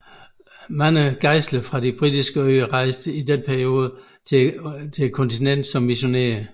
Mange gejstlige fra de Britiske øer rejste i denne periode til kontinentet som missionærer